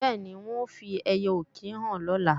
Bẹ́ẹ̀ni, wọn ó fi ẹiyẹ-ọ̀kín hàn lọ́la